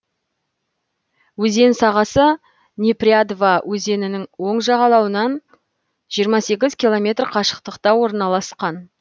өзен сағасы непрядва өзенінің оң жағалауынан жиырма сегіз километр қашықтықта орналасқан